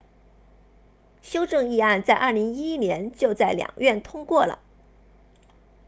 修正议案在2011年就在两院通过了